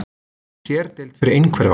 Sérdeild fyrir einhverfa